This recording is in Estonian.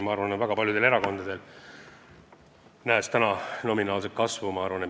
Ma arvan, et väga paljudel erakondadel on eesmärk jõuda kunagi 1%-ni.